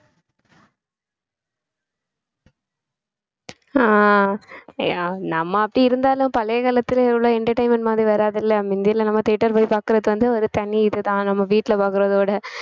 அஹ் நம்ம அப்படி இருந்தாலும் பழைய காலத்துல இவ்ளோ entertainment மாதிரி வராதுல்ல முந்தி எல்லாம் நம்ம theater போய் பாக்குறது வந்து ஒரு தனி இதுதான் நம்ம வீட்ல பாக்கறதோட